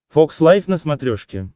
фокс лайф на смотрешке